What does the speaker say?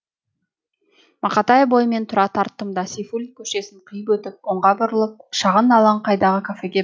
мақатаев бойымен тура тарттым да сейфуллин көшесін қиып өтіп оңға бұрылып шағын алаңқайдағы кафеге